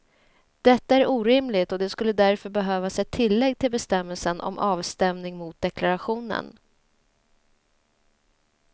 Detta är orimligt och det skulle därför behövas ett tillägg till bestämmelsen om avstämning mot deklarationen.